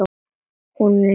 Hún var næst elst.